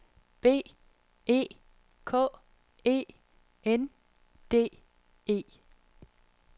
B E K E N D E